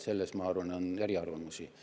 Selles, ma arvan, on eriarvamusi.